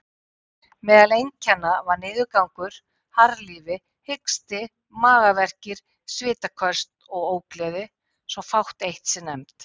Meðal einkenna var niðurgangur, harðlífi, hiksti, magaverkir, svitaköst og ógleði, svo fátt eitt sé nefnt.